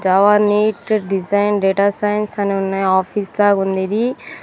Java NET design data science అని ఉన్నాయి office లాగా ఉంది ఇది.